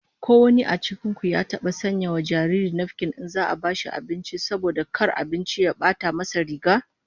Ko wanin cikin ku ya taba sanya wa jariri nafkin in za'a bashi abinci, saboda kar abinci ya bata nasa riga?